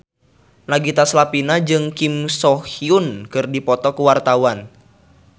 Nagita Slavina jeung Kim So Hyun keur dipoto ku wartawan